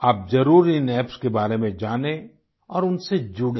आप जरुर इन एप्स के बारे में जाने और उनसे जुडें